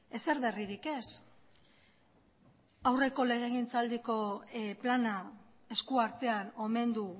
ezer berririk ez aurreko legegintzaldiko plana eskuartean omen du